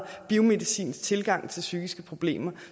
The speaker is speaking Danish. biomedicinsk tilgang til psykiske problemer